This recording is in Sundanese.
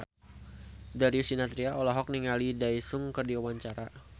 Darius Sinathrya olohok ningali Daesung keur diwawancara